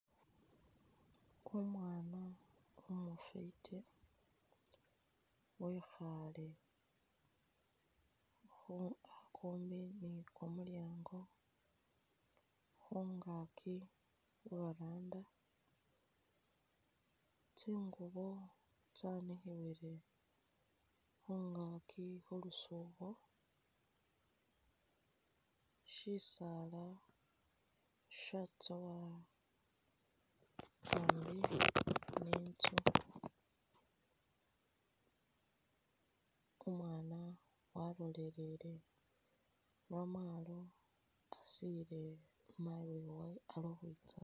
Umwana umufiti wekhale khumbi ni kumulyango lwangakyi khubaranda tsingubo tsanikhiwile khungaki khulusubo shisaala shatsowa hambi ni intsu, umwana walolelele momwalo asile mayi uwewe ali ukhwitsa.